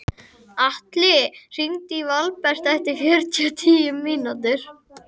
Klöpp með jökulrispum á Keldudalsheiði fyrir sunnan Mýrdalsjökul.